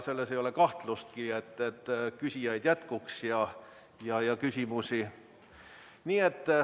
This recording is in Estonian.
Ei ole kahtlustki, et jätkuks küsijaid ja küsimusi.